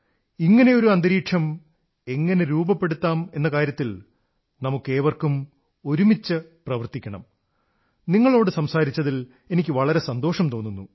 ഇങ്ങനെയൊരു അന്തരീക്ഷം എങ്ങനെ രൂപപ്പെടുത്താം എന്ന കാര്യത്തിൽ നമുക്കേവർക്കും ഒരുമിച്ച് പ്രവർത്തിക്കണം നിങ്ങളോടു സംസാരിച്ചതിൽ എനിക്ക് വളരെ സന്തോഷം തോന്നുന്നു